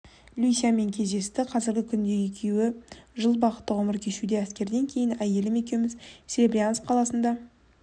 люсямен кездесті қазіргі күнде екеуі жыл бақытты ғұмыр кешуде әскерден кейін әйелім екеуіміз серебрянск қаласына